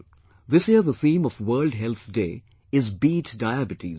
This year the theme of the World Health Day is 'Beat Diabetes'